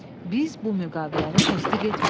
Biz bu müqaviləni təsdiq etmirik.